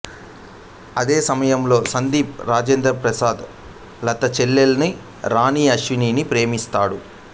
అదే సమయంలో సందీప్ రాజేంద్ర ప్రసాద్ లత చెల్లెలు రాణి అశ్విని ని ప్రేమిస్తాడు